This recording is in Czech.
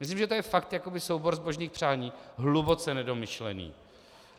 Myslím, že to je fakt jakoby soubor zbožných přání hluboce nedomyšlený.